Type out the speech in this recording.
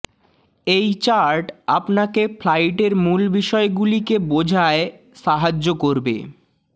এই চার্ট আপনাকে ফ্লাইটের মূল বিষয়গুলিকে বোঝায় সাহায্য করবে